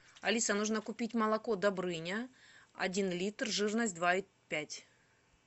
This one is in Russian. алиса нужно купить молоко добрыня один литр жирность два и пять